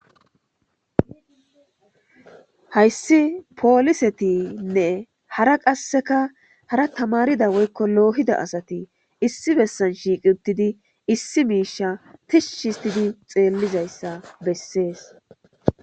Hayssi polisetine hara qassika hara tamarida woykko lohida asati issi bessan shiqqi uttidi issi misha tishshi ottidi tselliza issa bessees.